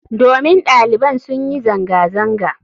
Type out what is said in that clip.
Domin daliban sun yi zanga-zanga.